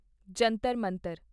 Jantar Mantar